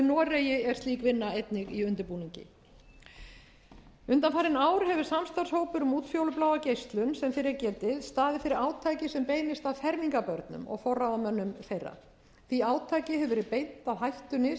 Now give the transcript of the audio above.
noregi er slík vinna einnig í undirbúningi undanfarin ár hefur samstarfshópur um útfjólubláa geislun sem fyrr er getið staðið fyrir átaki sem beinist að fermingarbörnum og forráðamönnum þeirra því átaki hefur verið beint að hættunni sem